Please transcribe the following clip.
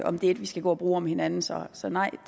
om det er et vi skal gå og bruge om hinanden så så nej